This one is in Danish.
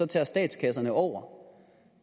tager statskasserne over